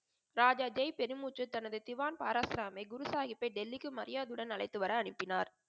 ராஜா ஜெய் பெருமுச்சு தனது திவான் பாராசமை குரு சாஹிப்பை டெல்லிக்கு மரியாதை உடன் அழைத்துவர அனுப்பினார்.